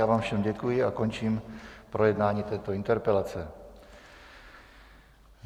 Já vám všem děkuji a končím projednávání této interpelace.